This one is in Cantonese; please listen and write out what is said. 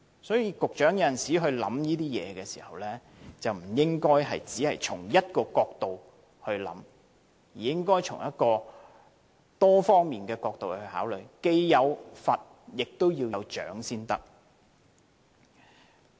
所以，局長，有時候考慮事情，不應只從一個角度出發，應從多方面考慮，既有罰，也要有獎才可。